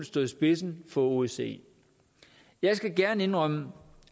stå i spidsen for osce jeg skal gerne indrømme